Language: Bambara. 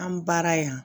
An baara yan